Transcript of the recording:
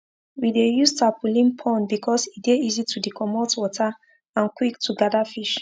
we dey use tarpaulin pond because e dey easy to dcomot water and quick to gather fish